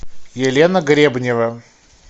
елена гребнева